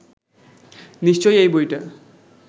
নিশ্চয়ই এই বইটা